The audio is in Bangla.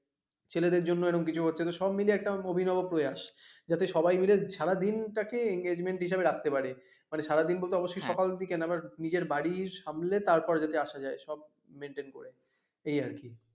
ছেলেদের জন্য এরকম কিছু হচ্ছে তো সব মিলিয়ে একটা অভিনব প্রয়াস, যাতে সবাই মিলে সারা দিনটা কে enjoyment হিসাবে রাখতে পারে, সারাদিন বলতে অবশ্যই সকাল দিকে না but নিজের বাড়ি সামলে তারপর যাতে আসা যায় সব maintain করে